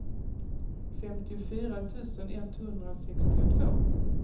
femtiofyra tusen etthundrasextiotvå